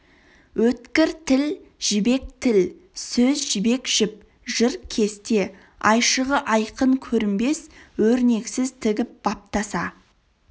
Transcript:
өткір тіл жібек тіл сөз жібек жіп жыр кесте айшығы айқын көрінбес өрнексіз тігіп баптаса